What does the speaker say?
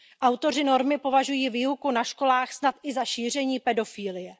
Autoři normy považují výuku na školách snad i za šíření pedofilie.